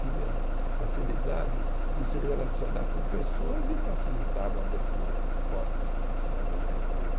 Tinha facilidade em se relacionar com pessoas e facilitava a abertura de portas para você arranjar emprego.